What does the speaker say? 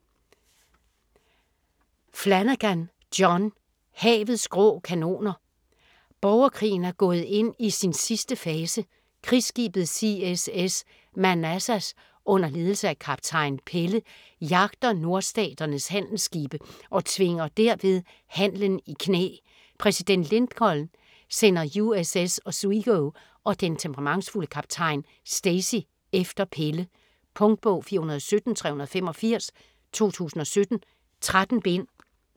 Flanagan, John: Havets grå kanoner Borgerkrigen er gået ind i sin sidste fase. Krigsskibet CSS Manassas under ledelse af kaptajn Pelle jagter Nordstaternes handelsskibe og tvinger derved handelen i knæ. Præsident Lincoln sender USS Oswego og den temperamentsfulde kaptajn Stacy efter Pelle. Punktbog 417385 2017. 13 bind.